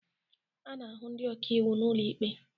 A na-ahụ ndị ọkàiwu n'ụlọ ikpe